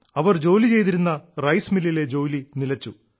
അവർ ജോലി ചെയ്തിരുന്ന റൈസ് മില്ലിലെ ജോലി നിലച്ചു